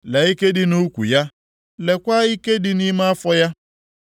Lee ike dị nʼukwu ya, leekwa ike dị nʼime afọ ya.